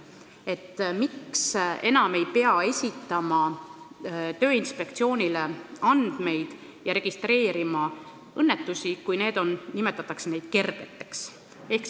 Esiteks, miks ei pea enam esitama andmeid Tööinspektsioonile ja registreerima õnnetusi, kui neid nimetatakse kergeteks?